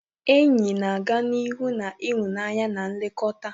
Enyi na-aga n'ihu na ịhụnanya na nlekọta.